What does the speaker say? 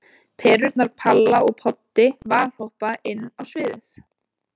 Perurnar Palla og Poddi valhoppa inn á sviðið.